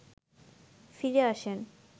ফিরে আসেন